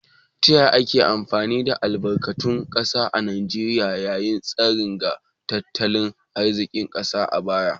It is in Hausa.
Ta yaya ake amfani da albarkatun kasa a Najeriya, ya yi tasiri ga tattalin arzikin kasar a baya?